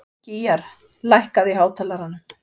Gýgjar, lækkaðu í hátalaranum.